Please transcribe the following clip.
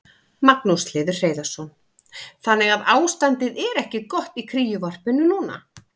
Magnús Hlynur Hreiðarsson: Þannig að ástandið er ekki gott í kríuvarpinu núna?